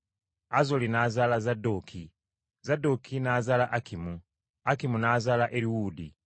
Azoli n’azaala Zadooki, Zadooki n’azaala Akimu, Akimu n’azaala Eriwuudi.